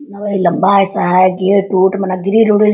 न वही लम्बा ऐसा है गेट उट में ना ग्रिल उरिल --